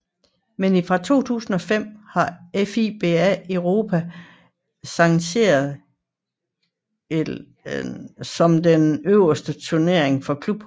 Men fra 2005 har FIBA Europe sanktioneret Euroleague som den øverste turnering for klubhold